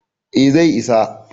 eh zai isa